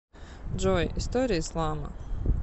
джой история ислама